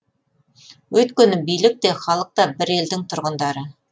өйткені билік те халық та бір елдің тұрғындары